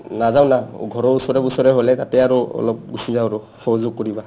নাযাও না ঘৰৰ ওচৰে পোছৰে হ'লে তাতে আৰু গুচি যাও আৰু অলপ সহযোগ কৰিবা